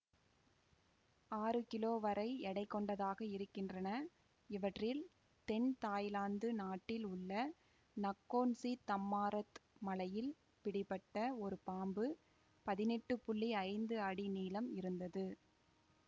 ஆறு கிலோ வரை எடை கொண்டதாக இருக்கின்றன இவற்றில் தென் தாய்லாந்து நாட்டில் உள்ள நக்கோன்சிதம்மாரத் மலையில் பிடிபட்ட ஒரு பாம்பு பதினெட்டு புள்ளி ஐந்து அடி நீளம் இருந்தது